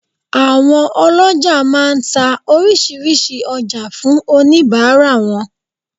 Àwọn olójà má a nta orísìírísìí ojá fún oníbàárà wọn